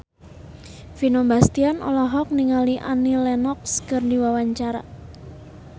Vino Bastian olohok ningali Annie Lenox keur diwawancara